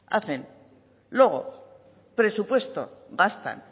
hacen luego presupuesto gastan